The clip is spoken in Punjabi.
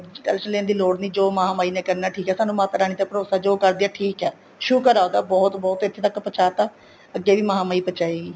tension ਲੈਣ ਦੀ ਲੋੜ ਨਹੀਂ ਜੋ ਮਹਾਮਾਹੀ ਨੇ ਕਰਨਾ ਠੀਕ ਏ ਸਾਨੂੰ ਮਾਤਾ ਰਾਣੀ ਤੇ ਭਰੋਸਾ ਜੋ ਕਰਦੀ ਹੈ ਠੀਕ ਹੈ ਸ਼ੁਕਰ ਆ ਉਹਦਾ ਬਹੁਤ ਬਹੁਤ ਇੱਥੇ ਤੱਕ ਪਹੁੰਚਤਾ ਅੱਗੇ ਵੀ ਮਹਾਮਾਹੀ ਪਹੁੰਚਾਏਗੀ